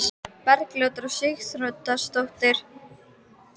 Bergljótar var Sigríður Þóroddsdóttir, beykis á Vatneyri.